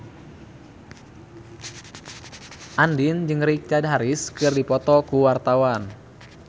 Andien jeung Richard Harris keur dipoto ku wartawan